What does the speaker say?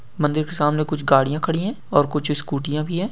मंदिर के सामने कुछ गड़िया खड़ी हैं और कुछ स्कूटी याँ भी हैं।